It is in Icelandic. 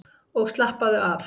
Og slappaðu af!